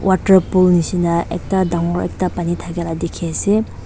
water pool nishina ekta dangor ekta pani dakai la diki ase.